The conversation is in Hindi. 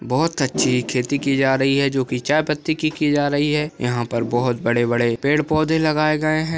बहुत खेती की जा रही है जो की चायपति की जा रही है यहाँ पर बहुत बड़े-बड़े पेड़-पौधे लगाए गए है।